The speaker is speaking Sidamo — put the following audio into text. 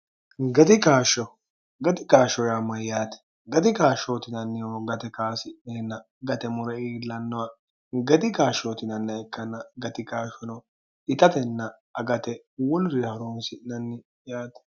gatikaashsho gati kaashsho raamma yaati gati kaashshootinannihoo gate kaasi'neenna gate mure iillannoha gati kaashshootinanni ekkanna gatikaashshono itatenna agate wolrihoroonsi'nanni yaati